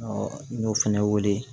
n y'o fɛnɛ wele